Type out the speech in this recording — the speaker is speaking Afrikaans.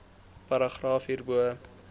paragraaf hierbo